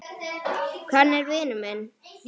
Hann er vinur minn.